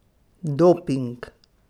Doping?